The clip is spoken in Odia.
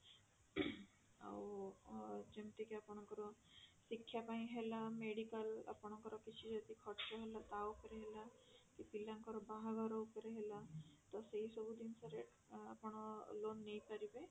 ଆଉ ଯେମିତି କି ଆପଣଙ୍କର ଶିକ୍ଷା ପାଇଁ ହେଲା medicalର ଆପଣଙ୍କର ଯଦି କିଛି ଖର୍ଚ ହେଲା ତା ଉପରେ ହେଲା କି ପିଲାଙ୍କର ବାହାଘର ଉପରେ ହେଲା ତ ସେଇ ସବୁ ଜିନିଷରେ ଆପଣ loan ନେଇପାରିବେ